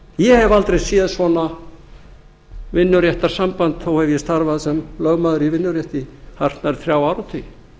ég hef aldrei séð svona vinnuréttarsamband þó hef ég starfað sem lögmaður í vinnurétti í hartnær þrjá áratugi